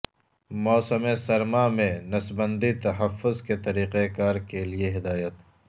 موسم سرما میں نسبندی تحفظ کے طریقہ کار کے لئے ہدایت